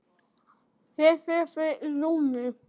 Ég sé þig í júní.